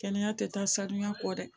Kɛnɛya tɛ taa sanuya kɔ dɛ